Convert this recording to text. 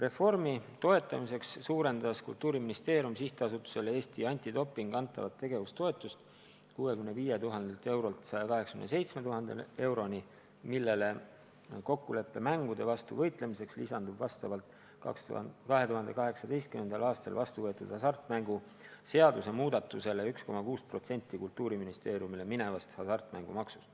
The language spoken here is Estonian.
Reformi toetamiseks suurendas Kultuuriministeerium SA-le Eesti Antidoping antavat tegevustoetust 65 000 eurolt 187 000 euroni, millele kokkuleppemängude vastu võitlemiseks lisandub vastavalt 2018. aastal vastu võetud hasartmänguseaduse muudatusele 1,6% Kultuuriministeeriumi käsutusse minevast hasartmängumaksust.